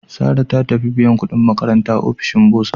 Sarah ta tafi biyan kudin makaranta a ofishin Bursa.